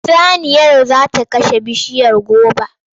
Saniyar za ta karya bishiyar goba.